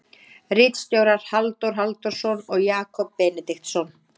Ritstjórar Halldór Halldórsson og Jakob Benediktsson.